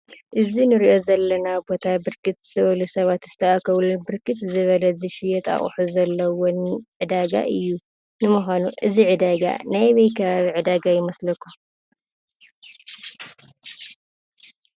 እዚ እንሪኦ ዘለና ቦታ ብርክት ዝበሉ ሰባት ዝተአከብሉ ብርክት ዝበለ ዝሽየጥ አቑሑ ዘለዎን ዕዳጋ እዩ፡፡ ንምኳኑ እዚ ዕዳጋ ናይ አበይ ከባቢ ዕዳጋ ይመስለኩም?